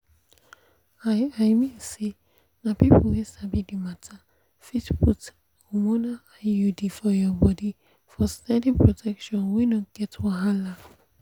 i i mean say na people wey sabi the matter fit put hormonal iud for your body for steady protection wey no get wahala.